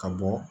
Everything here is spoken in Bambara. Ka bɔ